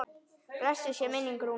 Blessuð sé minning Rúnars.